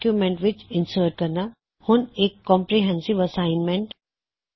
ਹੁਣ ਇਕ comprehensive assignment comprehensive assignment ਵਿਆਪਕ ਕਾਰਜ